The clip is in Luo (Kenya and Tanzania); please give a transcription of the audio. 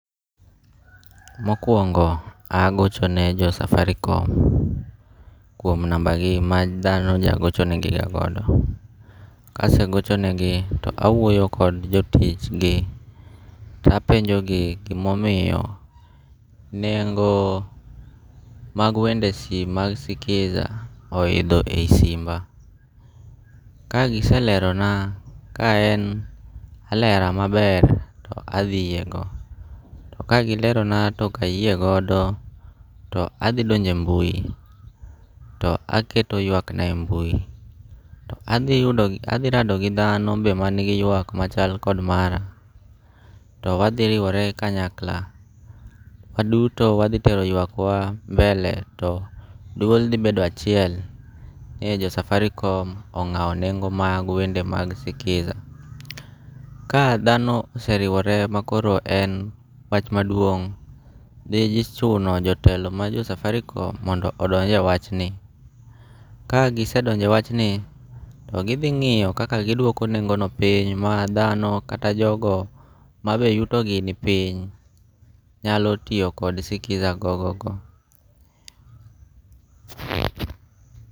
Mokuongo' agochone jo Safaricom kuom number gi ma thano nyalo gochonegiga godo, kasegochonegi to awuoyo kod jo tichgi tapenjogi gima omiyo nengo' mag wende simu ma skiza oitho e simba kagiselerona ka en alera maber athi yiego to kagi lerona to okayie godo to athi donje e mbui to aketo ywakna e mbui to athi rado gi thano to manigi ywak machal kod mara to wathi riwore kanyakla waduto wathitero ywakwa mbele to dwol thibedo achiel ni jo Safaricom onga'o nengo' mag wende mag Skiza, ka dhano oseriwore makoro en wach maduong' thichuno jotelo majo Safaricom mondo odonje wachni, ka gisedonje wachni ,to gi thi ngi'yo kaka gidwoko nengo'no piny ma thano kata jogo mabe yutogi ni piny nyalo tiyo kod Skiza gogo go.